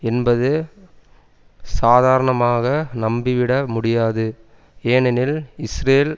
என்பது சாதரணமாக நம்பிவிடமுடியாது ஏனெனில் இஸ்ரேல்